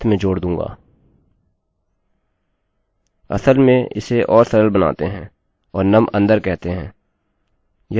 असल में इसे और सरल बनाते हैं और num अन्दर कहते हैं यह इसको पढ़ने में सरल बनाएगा